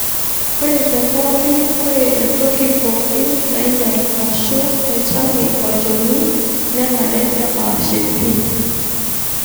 Ore tepokii, ore entoki poki nainyal ashu naitange olchoni nenare nepashii pii.